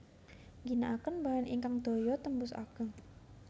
Ngginakaken bahan ingkang daya tembus ageng